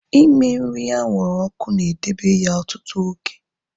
Ime nri anwụrụ ọkụ na edebe ya ọtụtụ oge